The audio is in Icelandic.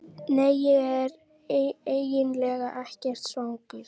Nei, ég er eiginlega ekkert svangur.